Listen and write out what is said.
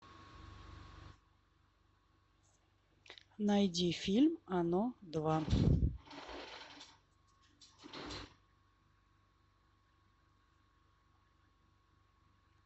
найди фильм оно два